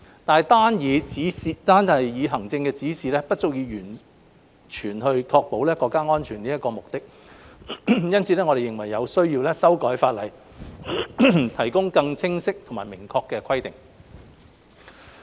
但單以行政指引不足以完全確保國家安全的目的，因此，我們認為有需要修改法例，提供更清晰及明確的規定。